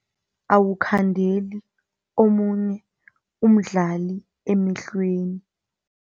Awukukhandeli omunye umdlali emehlweni.